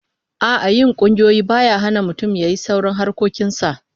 A'a, yin kungiyoyi baya hana mutum yayi sauran harkokin sa